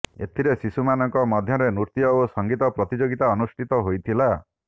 ଏଥିରେ ଶିଶୁମାନଙ୍କ ମଧ୍ୟରେ ନୃତ୍ୟ ଓ ସଂଗୀତ ପ୍ରତିଯୋଗିତା ଅନୁଷ୍ଠିତ ହୋଇଥିଲା